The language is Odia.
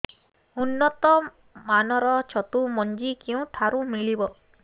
ଉନ୍ନତ ମାନର ଛତୁ ମଞ୍ଜି କେଉଁ ଠାରୁ ମିଳିବ